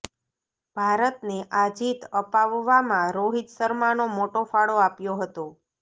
ભારતને આ જીત અપાવવામાં રોહિત શર્માનો મોટો ફાળો આપ્યો હતો